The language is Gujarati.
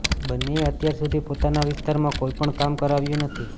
બંનેએ અત્યાર સુધી પોતાના વિસ્તારમાં કોઇપણ કામ કરાવ્યું નથી